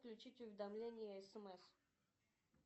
включить уведомления смс